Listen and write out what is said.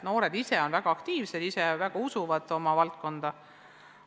Noored ise on väga aktiivsed ja usuvad oma valdkonda.